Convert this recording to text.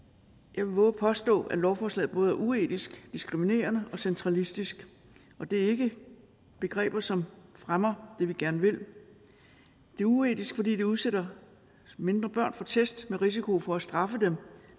jeg vil vove at påstå at lovforslaget både er uetisk diskriminerende og centralistisk og det er ikke begreber som fremmer det vi gerne vil det er uetisk fordi det udsætter mindre børn for test og risiko for at blive straffet